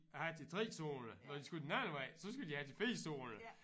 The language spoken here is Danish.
Have til 3 zoner når de skulle den anden vej så skulle de have til 4 zoner